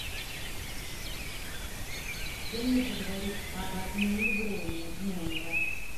с кем мне поговорить об отмене брони номера